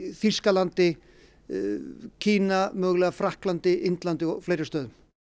Þýskalandi Kína mögulega Frakklandi Indlandi og fleiri stöðum